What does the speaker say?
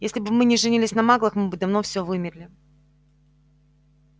если бы мы не женились на маглах мы бы давно все вымерли